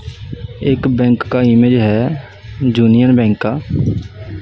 एक बैंक का इमेज है जूनियर बैंक का--